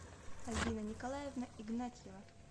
альбина николаевна игнатьева